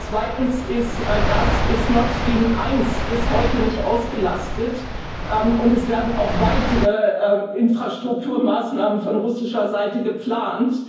Zweitens ist Nord Stream 1 bis heute nicht ausgelastet, und es werden auch weitere Infrastrukturmaßnahmen von russischer Seite geplant.